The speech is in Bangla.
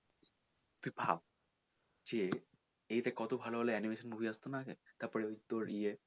ভাব যে এটা তে কত ভালো ভালো animation movie আসতো না আগে তারপরে ওই তোর ইয়ে